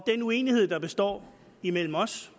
den uenighed der består imellem os